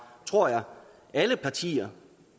tror jeg alle partier